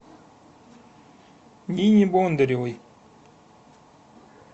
нине бондаревой